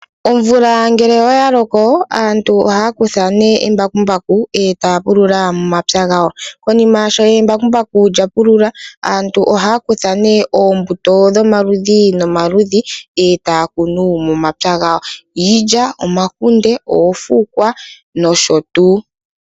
Omvula ngele oya loko aantu ohaya kutha nee embakumbaku etaya pulula momapya gawo. Konima sho embakumbaku lya pulula ,aantu ohaya kutha nee oombuto dhomaludhi nomaludhi etaya kunu momapya gawo iilya, omakunde ,oofukwa nosho tuu.